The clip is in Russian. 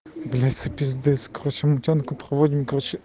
бля пиздец короче путинку проводим короче